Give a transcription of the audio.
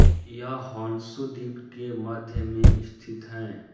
यह हॉन्शू द्वीप के मध्य में स्थित है